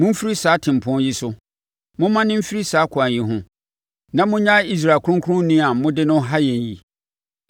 Momfiri saa tempɔn yi so, mommane mfiri saa kwan yi ho na monnyae Israel Kronkronni a mode no ha yɛn yi!”